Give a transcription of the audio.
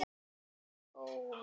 Má þetta þá ekki bíða?